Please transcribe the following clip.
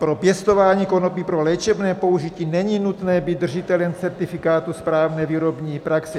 Pro pěstování konopí pro léčebné použití není nutné být držitelem certifikátu správné výrobní praxe.